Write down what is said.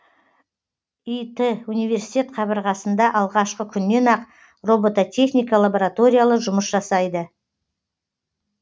ит университет қабырғасында алғашқы күннен ақ робототехника лабораториялары жұмыс жасайды